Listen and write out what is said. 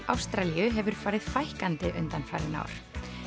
Ástralíu hefur farið fækkandi undanfarin ár